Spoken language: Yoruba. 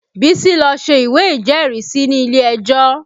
Bísí lọ ṣe ìwé ìjẹ́rìísí ni ilé ejó